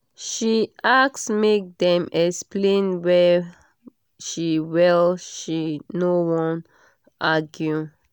she ask make dem explain well she well she no wan argue